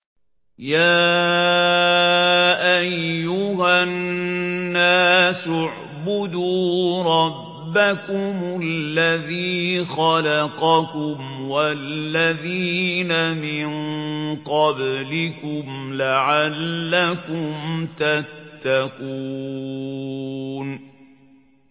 يَا أَيُّهَا النَّاسُ اعْبُدُوا رَبَّكُمُ الَّذِي خَلَقَكُمْ وَالَّذِينَ مِن قَبْلِكُمْ لَعَلَّكُمْ تَتَّقُونَ